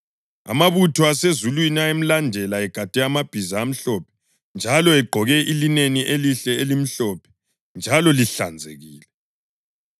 Amabutho asezulwini ayemlandela egade amabhiza amhlophe njalo egqoke ilineni elihle elimhlophe njalo lihlanzekile.